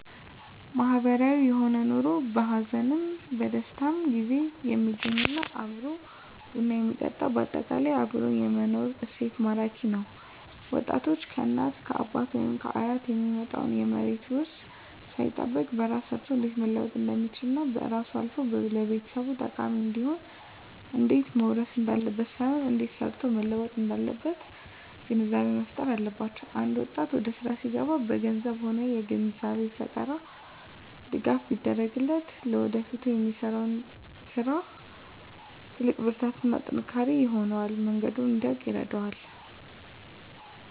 ማህበራዊ የሆነ ኑሮ በሀዘንም በደስታም ጊዜ የሚገናኝ እና አብሮ ቡና የሚጠጣ በአጠቃላይ አብሮ የመኖር እሴት ማራኪ ነዉ ወጣቶች ከእናት ከአባት ወይም ከአያት የሚመጣ የመሬት ዉርስን ሳይጠብቅ በራሱ ሰርቶ እንዴት መለወጥ እንደሚችልና ከራሱም አልፎ ለቤተሰብ ጠቃሚ እንዲሆን እንዴት መዉረስ እንዳለበት ሳይሆን እንዴት ሰርቶ መለወጥ እንዳለበት ግንዛቤ መፋጠር አለባቸዉ አንድ ወጣት ወደስራ ሲገባ በገንዘብም ሆነ የግንዛቤ ፈጠራ ድጋፍ ቢደረግለት ለወደፊቱ ለሚሰራዉ ስራ ትልቅ ብርታትና ጥንካሬ ይሆነዋል መንገዱንም እንዲያዉቅ ይረዳዋል